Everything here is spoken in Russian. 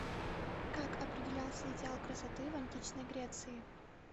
как определялся идеал красоты в античной греции